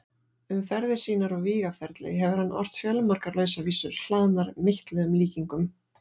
Um ferðir sínar og vígaferli hefur hann ort fjölmargar lausavísur, hlaðnar meitluðum líkingum.